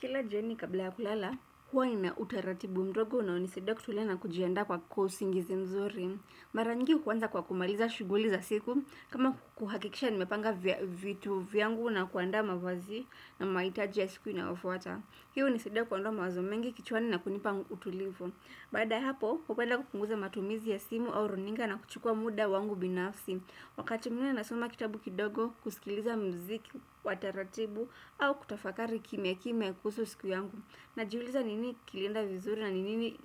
Kila jioni kabla ya kulala, huwa nina utaratibu mdogo unaonisaidia kutulia na kujiandaa kwa usingizi mzuri. Mara nyingi huanza kwa kumaliza shughuli za siku, kama kuhakikisha nimepanga vitu vyangu na kuandaa mavazi na mahitaji ya siku inayofuata. Hiyo hunisaidia kuondoa mawazo mengi kichwani na kunipa utulivu. Baada ya hapo, hupenda kupunguza matumizi ya simu au runinga na kuchukua muda wangu binafsi. Wakati mwingine nasoma kitabu kidogo kusikiliza mziki wa taratibu au kutafakari kimya kimya kuhusu siku yangu. Najiuliza nini kilienda vizuri na nini